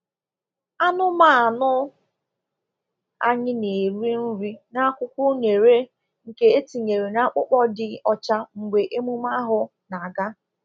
Anụmanụ anyị na-eri nri n’akwụkwọ unere nke etinyere n’akpụkpọ dị ọcha mgbe emume ahụ na-aga.